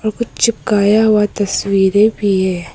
कुछ चिपकाया हुआ तस्वीरें भी हैं।